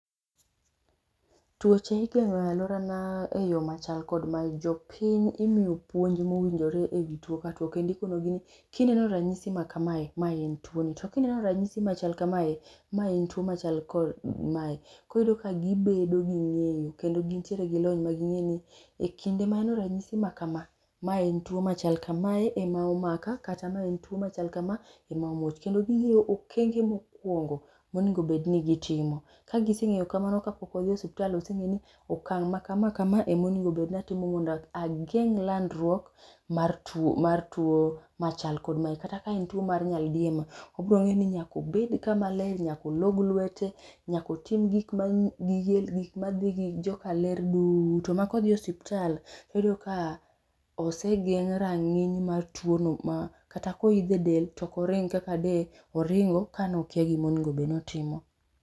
Tuoche igeng'o e aluorana eyo machal kod mae, jopiny imiyo puonj ma owinjore ewi tuo kendo ikonegi ni kineno ranyisi makamae ma en tuoni, to kineno ranyisi machal kamae ma en machal kod mae. Iyudo ka gibedo gi ng'eyo kendo gintie gilony maging'eyo ekinde ma aneno ranyisi ma kama, ma entuo makamae ema omaka kata ma entuo machal kama ema omuoch kendo ging'eyo okenge mokuongo monego bed ni gitimo. Ka giseng'eyo kamano kapok gidhi e osiptal, ose ng'eyo ni okang' makama kama omonego bed ni akawo mondo ageng' landruok mar tuo mar tiuo machal kod mae kata ka en tuo mar nyaldiema obiro ng'eyo ni nyaka obed kama ler, nyaka olog lwete, nyaka otim gik ma gige madhi gi joka ler duto makodhi e osiptal, oyudo ka osegeng' rang'iny mar tuono ma kata ka oidho e del to ok oring kaka de oringo kane okia gima onego bed ni otimo.